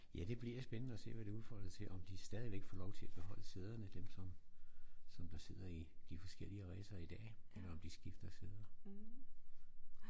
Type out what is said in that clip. Ja det bliver spændende at se hvad det udfolder sig til om de stadigvæk får lov til at beholde sæderne dem som som der sidder i de forskellig racer i dag eller om de skifter sæder